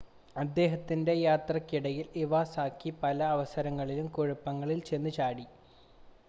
അദ്ദേഹത്തിൻ്റെ യാത്രയ്ക്ക് ഇടയിൽ ഇവാസാക്കി പല അവസരങ്ങളിലും കുഴപ്പങ്ങളിൽ ചെന്ന് ചാടി